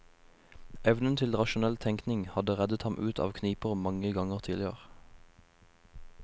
Evnen til rasjonell tenking hadde reddet ham ut av kniper mange ganger tidligere.